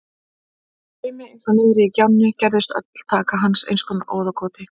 Í straumi eins og niðri í gjánni gerðist öll taka hans í einskonar óðagoti.